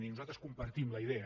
i nosaltres en compartim la idea